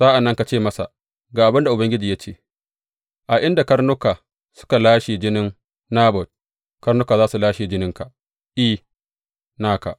Sa’an nan ka ce masa ga abin da Ubangiji ya ce, A inda karnuka suka lashe jinin Nabot, karnuka za su lashe jininka, I, naka!’